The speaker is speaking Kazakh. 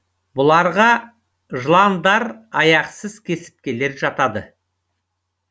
бұларға жыландар аяқсыз кесірткелер жатады